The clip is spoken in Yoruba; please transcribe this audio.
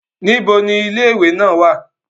Nibo ni ile-iwe naa wa?